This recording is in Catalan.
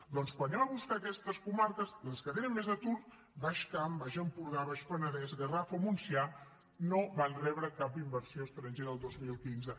doncs quan anem a buscar aquestes comarques les que tenen més atur baix camp baix empordà baix penedès garraf o montsià no van rebre cap inversió estrangera el dos mil quinze